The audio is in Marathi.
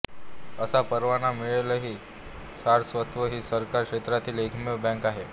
असा परवाना मिळालेली सारस्वत ही सहकार क्षेत्रातली एकमेव बँक आहे